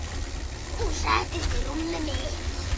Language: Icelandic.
Hún settist á rúmið mitt.